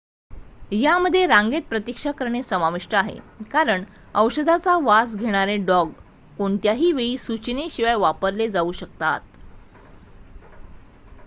यामध्ये रांगेत प्रतीक्षा करणे समाविष्ट आहे कारण औषधाचा वास घेणारे डॉग कोणत्याही वेळी सूचनेशिवाय वापरले जाऊ शकतात